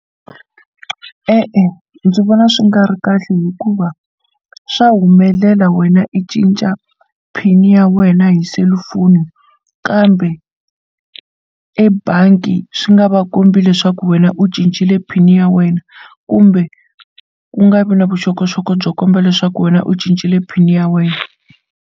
E-e, ndzi vona swi nga ri kahle hikuva swa humelela wena i cinca pin ya wena hi selufoni kambe ebangi swi nga va kombi leswaku wena u cincile pin ya wena kumbe ku nga vi na vuxokoxoko byo komba leswaku wena u cincile pin ya wena.